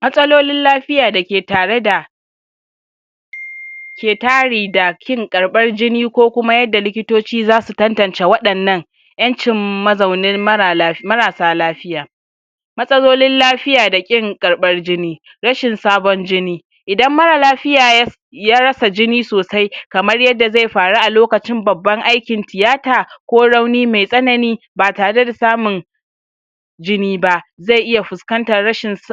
matsalolin lafiya dake tare da ke tari da kin karbar jini ko kuma yadda likitoci zasu tantance waɗannan ƴancin mazaunin marala marasa lafiya matsalolin lafiya da ƙin karɓar jini rashin sabon jini idan mara lafiya yas ya rasa jini sosai kamar yadda zai faru a lokacin babban aikin tiyata ko rauni me tsanani batare da samun jini ba ze iya fuskantar rashin si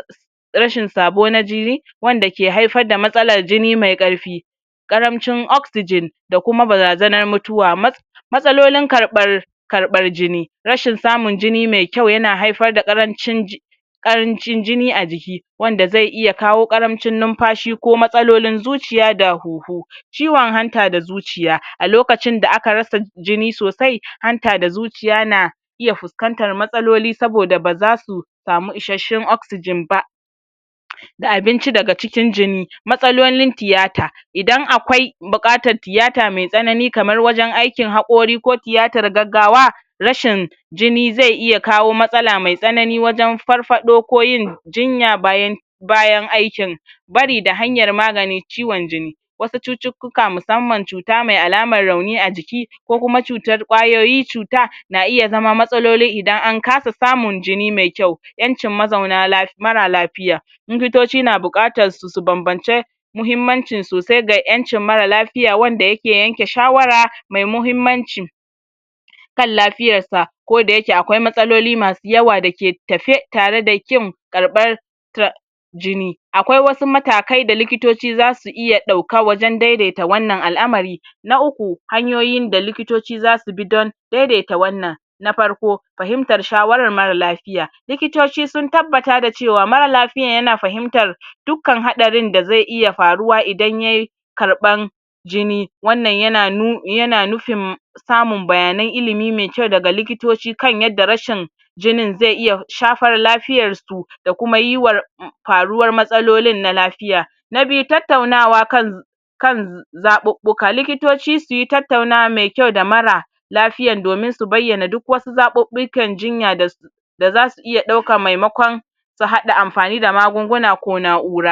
rashin sabo na jini wanda ke haifar da matsalar jini mai karfi ƙaramcin oxygen da kuma barazanar mutuwa mat matsalolin karɓar karɓar jini rashin samun jini me kyau yana haifar da ƙarancin ji ƙarancin jini a jiki wanda ze iya kawo ƙaramcin nunfashi ko matsalolin zuciya da huhu ciwon hanta da zuciya al lokacin da aka rasa, jini sosai hanta da zuciya na iya fuskantar matsaloli saboda bazasu samu isasshen oxygen ba da abinci daga cikin jini matsalolin tiyata idan akwai buƙatt tiyata me tsanani kamar wajan aikin haƙori ko tiyatar gaggawa rashin jini ze iya kawo matsala me tsanani wajan farfaɗo ko yin jinya bayan bayan aikin bari da hanyar magani ciwon jini wasu cucukuka musamman cu ta mai alamar rauni ajiki ko kuma cutar ƙwayoyi cuta na iya zama mtsaloli idan ankasa samun jini me kyau ƴancin mazauna laf mara lafiya likitoci na bukatan su ,su banbance muhimmancii sosai ga ƴancin mara lafi fi m wanda yake yanke shawara me muhimmanci kallafiyar sa koda yake akwai matsalolin da yake yawa dake tafe tare da kim karɓar da jini akwai matakai da likitoci zasu da iya ɗauka wajan daidaita al'amari na uku hanyoyin da likitoci zasu bi don dedeta wanan na farko fahimtar shawarar mara lafiya likitoci sun tabbata da cewa mara lafiyan yana fahimtar dukkan haɗarin da ze iya faruwa idan yay karɓan jini wanan yana nu[um] yana jufin samun bayanan ilimi me kyau daga likitoci kan jinin ze iya shfar lafiyan su da kuma yiwar faruwar matsalolin na lafiya na biyu tattaunawa kan kan zaɓuɓuka likitoci suyi tattaunawa me kyau da mara lafiya domin su bayyana duk wasu zaɓuɓikan jinya da su da zasu iya ɗauka memakon su haɗa anfani da magunguna ko na'ura